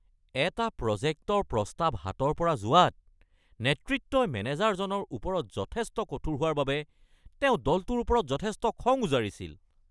এটা প্ৰজেক্টৰ প্ৰস্তাৱ হাতৰ পৰা যোৱাত নেতৃত্বই মেনেজাৰজনৰ ওপৰত যথেষ্ট কঠোৰ হোৱাৰ বাবে তেওঁ দলটোৰ ওপৰত যথেষ্ট খং উজাৰিছিল।